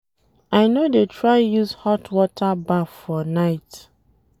I no dey try use hot water baff for night.